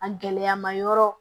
A gɛlɛyama yɔrɔ